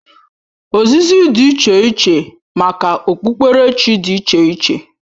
Ozizi dị iche iche maka okpukperechi dị iche iche